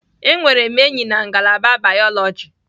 Enwere m enyi na ngalaba bayoloji.